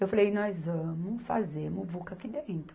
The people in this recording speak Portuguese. Eu falei, nós vamos fazer muvuca aqui dentro.